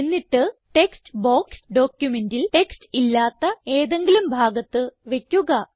എന്നിട്ട് text box ഡോക്യുമെന്റിൽ text ഇല്ലാത്ത ഏതെങ്കിലും ഭാഗത്ത് വയ്ക്കുക